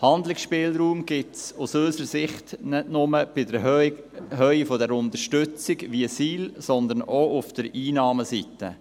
Handlungsspielraum gibt es aus unserer Sicht nicht nur in der Höhe der Unterstützung der Situationsbedingten Leistungen, sondern auch auf der Einnahmeseite.